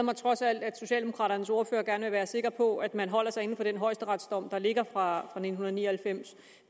mig trods alt at socialdemokraternes ordfører gerne vil være sikker på at man holder sig inden for den højesteretsdom der ligger fra nitten ni og halvfems